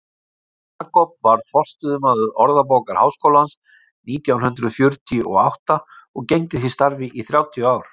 jakob varð forstöðumaður orðabókar háskólans nítján hundrað fjörutíu og átta og gegndi því starfi í þrjátíu ár